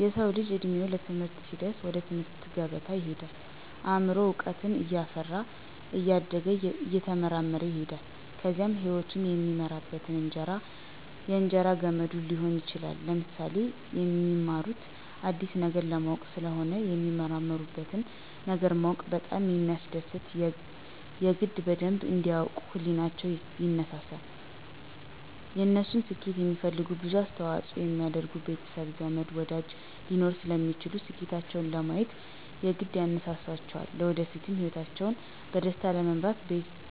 የሰዉ ልጅ እድሜዉ ለትምህርት ሲደርስ ወደ ትምህርት ገበታ ይሄዳል አምሮዉም እዉቀትን እያፈራ እያደገ እየተመራመረ ይሄዳል ከዚያም ህይወቱን የሚመራበት የእንጀራ ገመዱ ሊሆን ይችላል። ለምሳሌ፦ የሚማሩት አዲስ ነገር ለማወቅ ስለሆነ የሚመራመሩበትን ነገር ማወቅ በጣም ስለሚያስደስት የግድ በደንብ እንዲ ያዉቁ ህሊቸዉ ይነሳሳል፣ የነሱን ስኬት የሚፈልጉ ብዙ አስተዋፅኦ የሚያደርጉ ቤተሰብ፣ ዘመድ፣ ወዳጅ ሊኖሩ ስለሚችሉ ስኬታቸዉን ለማሳየት የግድ ያነሳሳቸዋልለወደፊት ህይወታቸዉን በደስታ ለመምራት